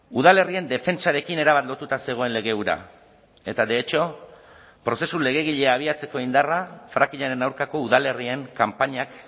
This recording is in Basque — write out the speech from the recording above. udalerrien defentsarekin erabat lotuta zegoen lege hura eta de hecho prozesu legegilea abiatzeko indarra frackingaren aurkako udalerrien kanpainak